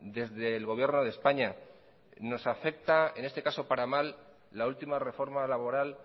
desde el gobierno de españa nos afecta en este caso para mal la última reforma laboral